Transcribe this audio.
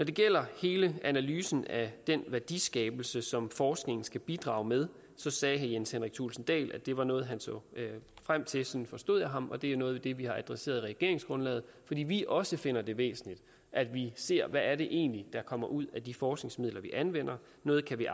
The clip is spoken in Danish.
det gælder hele analysen af den værdiskabelse som forskningen skal bidrage med så sagde herre jens henrik thulesen dahl at det var noget han så frem til sådan forstod jeg ham og det er noget af det vi har adresseret i regeringsgrundlaget fordi vi også finder det væsentligt at vi ser hvad det egentlig er der kommer ud af de forskningsmidler vi anvender noget kan vi